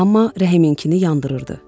Amma Rəhiminkini yandırırdı.